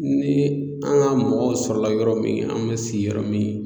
Ni an ga mɔgɔw sɔrɔla yɔrɔ min an be si yɔrɔ min